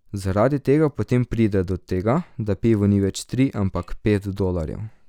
Zaradi tega potem pride do tega, da pivo ni več tri, ampak pet dolarjev.